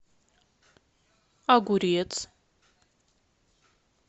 огурец